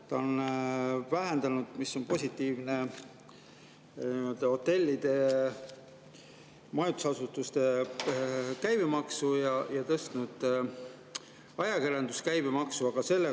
Ta on vähendanud hotellide ja majutusasutuste käibemaksu ning tõstnud ajakirjanduse käibemaksu, mis on positiivne.